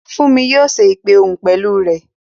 Fúnmi yóò ṣe ìpè òhun pẹ̀lú rẹ